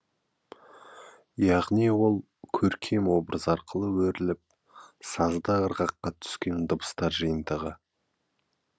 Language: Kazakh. яғни ол көркем образ арқылы өріліп сазды ырғаққа түскен дыбыстар жиынтығы